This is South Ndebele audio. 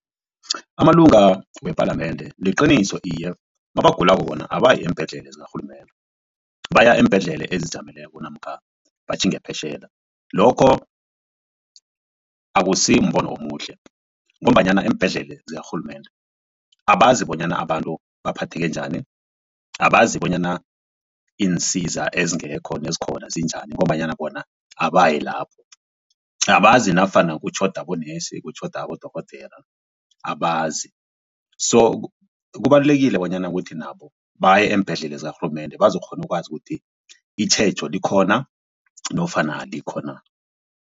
Amalunga wePalamende liqiniso iye mabagulako bona abayi eembhedlela zakarhulumende baya eembhedlela ezizijameleko namkha batjhinge phetjheya. Lokho akusimbono omuhle ngombanyana eembhedlela zakarhulumende abazi bonyana abantu baphatheke njani abazi bonyana iinsiza ezingekho nezikhona zinjani ngombanyana bona abayi lapho. Abazi nafana kutjhoda bonesi kutjhoda abodorhodera abazi so kubalulekile bonyana ukuthi nabo baye eembhedlela zakarhulumende bazokukghona ukwazi ukuthi itjhejo likhona nofana alikho na.